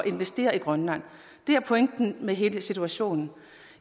investere i grønland det er pointen med hele situationen